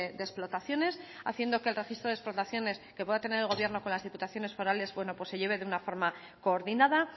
de explotaciones haciendo que el registro de explotaciones que pueda tener el gobierno con las diputaciones forales bueno pues se lleve de una forma coordinada